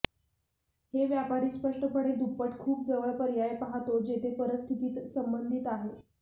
हे व्यापारी स्पष्टपणे दुप्पट खूप जवळ पर्याय पाहतो जेथे परिस्थितीत संबंधित आहे